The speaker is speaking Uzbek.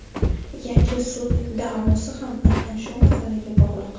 Yangi sud da’vosi ham aynan shu masalaga bog‘liq.